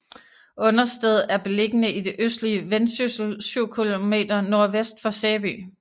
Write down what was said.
Understed er beliggende i det østlige Vendsyssel syv kilometer nordvest for Sæby